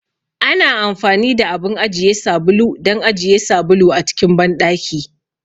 Ana amfani da abun ajiye sabulu don ajiye sabulu a cikin banɗaki.